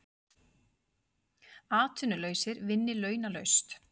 Atvinnulausir vinni launalaust